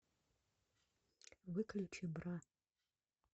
выключи бра